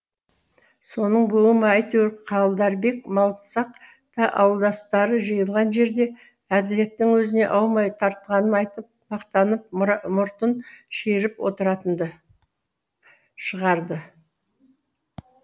соның буы ма әйтеуір қалдарбек малсақ та ауылдастары жиылған жерде әділеттің өзіне аумай тартқанын айтып мақтанып мұртын шиырып отыратынды шығарды